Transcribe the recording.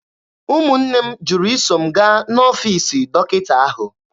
Ụmụnne m jụrụ iso m gaa n'ọfiisi dọkịta ahụ.